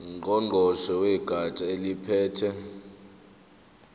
ngqongqoshe wegatsha eliphethe